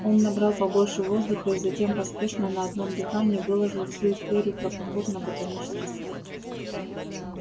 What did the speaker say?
он набрал побольше воздуха и затем поспешно на одном дыхании выложил всю историю про поход на ботанический сад